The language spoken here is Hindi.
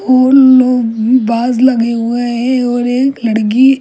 को के पास लगे हुए है और एक लड़की--